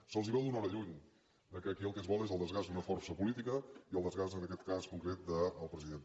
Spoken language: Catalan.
se’ls veu d’una hora lluny que aquí el que es vol és el desgast d’una força política i el desgast en aquest cas concret del president